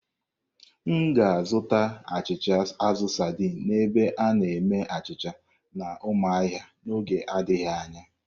M ga-azụta achịcha azụ saidin n'ebe a na-eme achịcha na Umuahia n'oge adịghị anya.